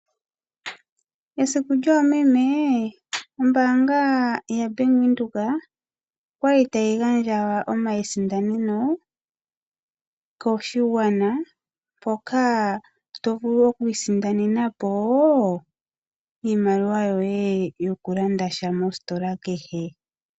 Esiku lyoomeme, ombaanga yaBank Windhoek oya li tayi gandja omasindaneno koshigwana, mpoka to vulu okwiisindanena po iimaliwa yoye yokulanda sha mositola kehe.